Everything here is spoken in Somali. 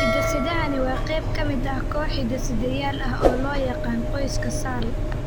Hiddo-sidahani waa qayb ka mid ah koox hidde-sideyaal ah oo loo yaqaan qoyska SALL.